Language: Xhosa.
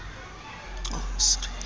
fyn fine kweek